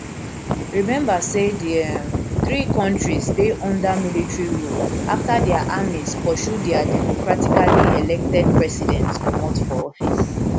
remember say di um three kontris dey under military rule afta dia armies pursue dia democratically elected presidents comot for office